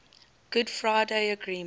good friday agreement